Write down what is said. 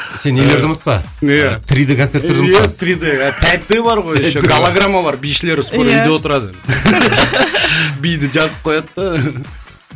сен нелерді ұмытпа иә три д концерттерді ұмытпа три д пять д бар ғой еще галограмма бар бишілер скоро иә үйде отырады биді жазып қояды да